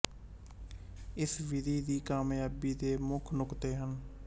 ਇਸ ਵਿਧੀ ਦੀ ਕਾਮਯਾਬੀ ਦੇ ਮੁੱਖ ਨੁਕਤੇ ਹਨ